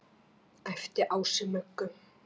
æpti Ási Möggu.